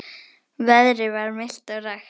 Veðrið var milt og rakt.